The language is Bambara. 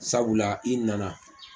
Sabula i nana.